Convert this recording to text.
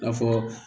I n'a fɔ